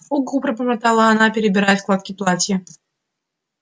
угу пробормотала она перебирая складки платья